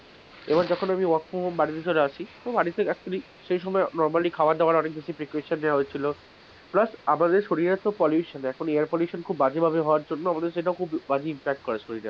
আবার যখন আমি work form home বাড়িতে চলে আসি , তো বাড়িতে actually সেই সময় normally খাবার দাবার অনেক কিছু precaution নেওয়া হচ্ছিলো plus আমাদের শরীরের তো pollution, এখন air pollution খুব বাজে ভাবে হবার জন্য আমাদের সেটা খুব বাজে ভাবে impact করে শরীরে,